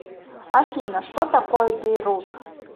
афина что такое бейрут